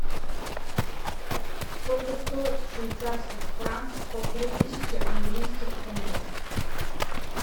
сколько стоит в швейцарских франках полторы тысячи английских фунтов